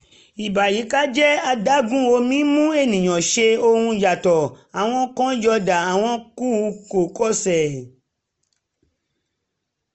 ìbàyíkájẹ́ adágún omi mú ènìyàn ṣe ohun yàtọ̀ - àwọn kan yọ̀ọ̀da àwọn kù kò ṣe